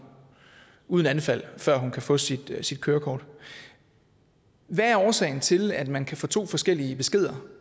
uden anfald før hun kan få sit sit kørekort hvad er årsagen til at man kan få to forskellige beskeder